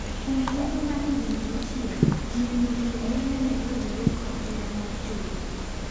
Kuom thuolo mar higni auchiel miyo no endo nen oyudore kod hera mar chode.